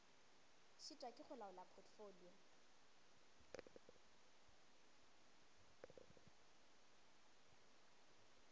šitwa ke go laola potfolio